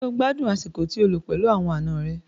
Ṣé o gbádùn àsìkò tí o lò pẹ̀lú àwọn àna rẹ?